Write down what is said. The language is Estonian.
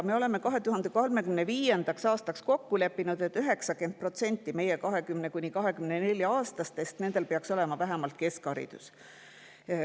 Me oleme 2035. aastaks kokku leppinud, et 90%-l meie 20–24-aastastest peaks olema vähemalt keskharidus.